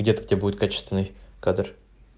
где-то у тебя будет качественный кадр